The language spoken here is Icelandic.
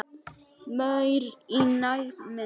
Maur í nærmynd.